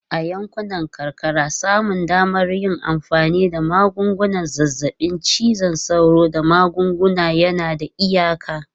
A yankunan karkara, samun damar yin amfani da magungunan zazzabin cizon sauro da magunguna yana da iyaka.